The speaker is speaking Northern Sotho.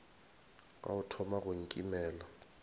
ka o thoma go nkimela